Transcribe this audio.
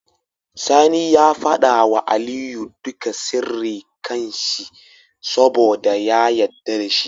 Sani ya fada wa Aliyu duka sirri kan shi saboda ya yadda dashi